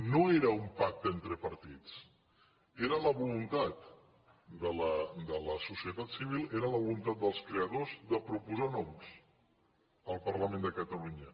no era un pacte entre partits era la voluntat de la societat civil era la volun tat dels creadors de proposar noms al parlament de catalunya